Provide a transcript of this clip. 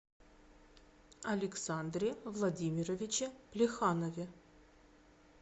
александре владимировиче плеханове